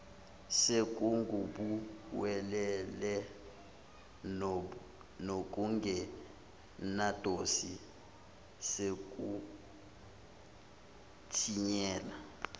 sekungubuwelewele nokungenadosi sekutinyela